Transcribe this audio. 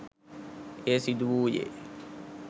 එය සිදු වූයේ